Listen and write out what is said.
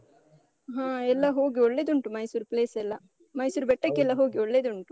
ಹಾ. ಎಲ್ಲ ಹೋಗಿ ಒಳ್ಳೆದುಂಟು, ಮೈಸೂರು place ಎಲ್ಲ ಮೈಸೂರು ಬೆಟ್ಟಕ್ಕೆಲ್ಲ ಹೋಗಿ, ಒಳ್ಳೆದುಂಟು.